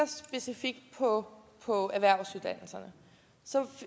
specifikt på på erhvervsuddannelserne